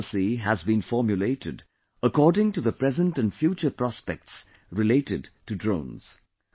This policy has been formulated according to the present and future prospects related to drones